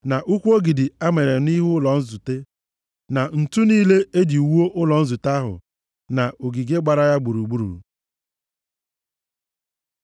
na ụkwụ ogidi a manyere nʼihu ụlọ nzute, na ǹtu niile e ji wuo ụlọ nzute ahụ, na ogige gbara ya gburugburu.